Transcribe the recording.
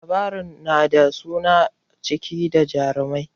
Labarai na da suna cike da jarumta